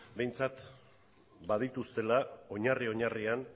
behintzat badituztela oinarri oinarrian